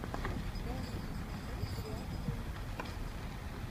дай мне посмотреть реакция ника